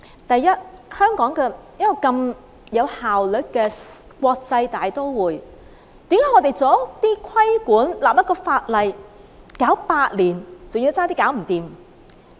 第一，香港是一個如此有效率的國際大都會，為何我們作出規管和立例，卻要用上8年時間，還要差點做不成？